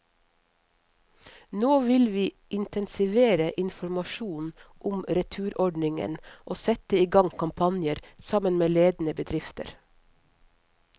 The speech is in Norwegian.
Nå vil vi intensivere informasjonen om returordningen og sette i gang kampanjer, sammen med ledende bedrifter.